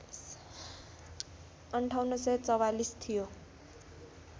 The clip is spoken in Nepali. ५८४४ थियो